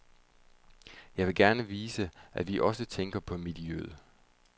Jeg vil gerne vise, at vi også tænker på miljøet.